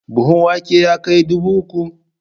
Buhun wake ya kai dubu uku?